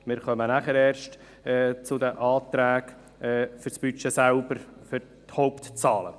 Wir kommen erst danach zu den Anträgen zum Budget selber, zu den Hauptzahlen.